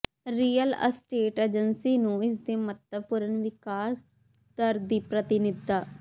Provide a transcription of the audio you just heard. real estate agency ਨੂੰ ਇਸ ਦੇ ਮਹੱਤਵਪੂਰਨ ਵਿਕਾਸ ਦਰ ਦੀ ਪ੍ਰਤੀਨਿਧਤਾ